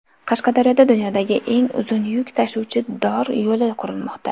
Qashqadaryoda dunyodagi eng uzun yuk tashuvchi dor yo‘li qurilmoqda.